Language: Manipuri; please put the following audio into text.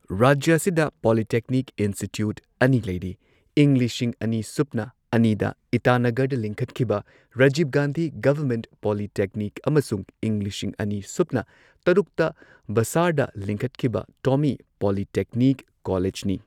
ꯔꯥꯖ꯭ꯌ ꯑꯁꯤꯗ ꯄꯣꯂꯤꯇꯦꯛꯅꯤꯛ ꯏꯟꯁꯇꯤꯇ꯭ꯌꯨꯠ ꯑꯅꯤ ꯂꯩꯔꯤ ꯏꯪ ꯂꯤꯁꯤꯡ ꯑꯅꯤ ꯁꯨꯞꯅ ꯑꯅꯤꯗ ꯏꯇꯥꯅꯒꯔꯗ ꯂꯤꯡꯈꯠꯈꯤꯕ ꯔꯥꯖꯤꯕ ꯒꯥꯟꯙꯤ ꯒꯚꯔꯟꯃꯦꯟꯠ ꯄꯣꯂꯤꯇꯦꯛꯅꯤꯛ ꯑꯃꯁꯨꯡ ꯏꯪ ꯂꯤꯁꯤꯡ ꯑꯅꯤ ꯁꯨꯞꯅ ꯇꯔꯨꯛꯇ ꯕꯥꯁꯥꯔꯗ ꯂꯤꯡꯈꯠꯈꯤꯕ ꯇꯣꯃꯤ ꯄꯣꯂꯤꯇꯦꯛꯅꯤꯛ ꯀꯣꯂꯦꯖꯅꯤ꯫